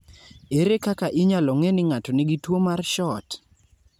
Ere kaka inyalo ng'e ni ng'ato nigi tuwo mar SHORT?